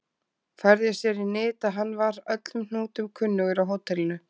Færði sér í nyt að hann var öllum hnútum kunnugur á hótelinu.